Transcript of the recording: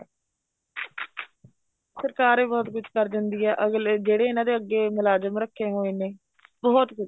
ਸਰਕਾਰ ਈ ਬਹੁਤ ਕੁੱਝ ਕਰ ਜਾਂਦੀ ਏ ਅਗਲੇ ਜਿਹੜੇ ਇਹਨਾ ਦੇ ਅੱਗੇ ਮੁਲਾਜਮ ਰੱਖੇ ਹੋਏ ਨੇ ਬਹੁਤ ਕੁੱਝ